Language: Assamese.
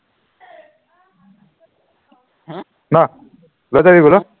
ন লৈ যাবি বোলো